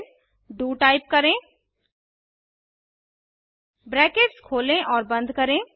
फिर D O type करें brackets खोलें और बंद करें